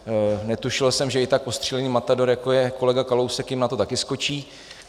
Netušil jsem, že i tak ostřílený matador, jako je kolega Kalousek, jim na to také skočí.